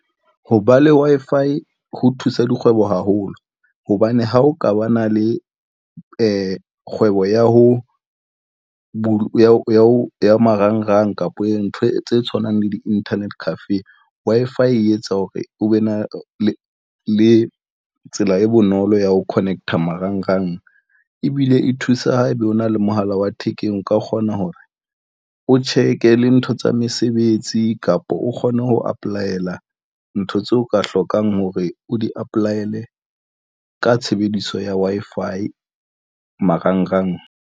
Ho ba le Wi-Fi ho thusa dikgwebo haholo hobane ha o ka ba na le kgwebo ya ho ya marangrang kapa ntho tse tshwanang le di-internet cafe Wi-Fi e etsa hore o be na le le tsela e bonolo ya ho connect-a marangrang ebile e thusa ho ebe o na le mohala wa thekeng. O ka kgona hore o check-e le ntho tsa mesebetsi kapa o kgone ho apply-la ntho tseo ka hlokang hore o di apply-le ka tshebediso ya Wi-Fi marangrang.